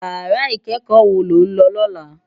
Iyàrá ikèékò wó ló n lò lòlá?